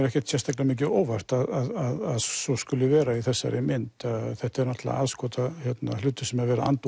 ekkert sérstaklega mikið á óvart að svo skuli vera í þessari mynd þetta er náttúrulega aðskotahlutur sem er verið að anda